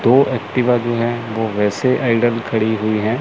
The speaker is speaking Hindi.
दो एक्टिवा जो है वो वैसे खड़ी हुई है।